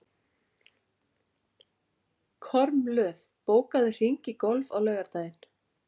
Kormlöð, bókaðu hring í golf á laugardaginn.